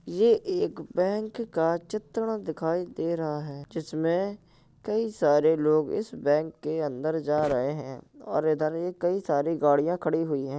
ये एक बैंक का चित्रण दिखाई दे रहा है जिसमें कई सारे लोग इस बैंक के अंदर जा रहे है और इधर ये कई सारी गाड़ियाँ खड़ी हुई है।